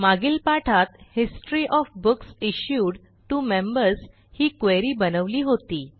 मागील पाठात history of books issued to members ही क्वेरी बनवली होती